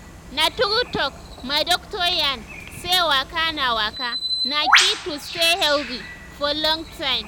na true talk my doctor yarn say waka na waka na key to stay healthy for long time.